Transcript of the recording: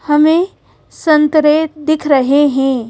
हमें संतरे दिख रहे हैं।